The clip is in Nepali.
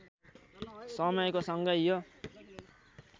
समयको सँगै यो